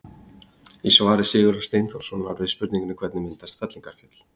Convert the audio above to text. Í svari Sigurðar Steinþórssonar við spurningunni Hvernig myndast fellingafjöll?